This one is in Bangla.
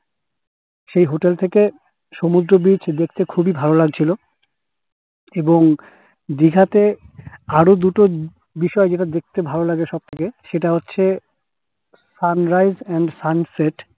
সেই hotel থেকে সমুদ্র beach দেখতে খুবই ভালো লাগছিল এবং দিঘা তে আরো দুটো বিষয় যেটা দেখতে ভালো লাগে সবথেকে সেটা হচ্ছে sun rise এবং sun set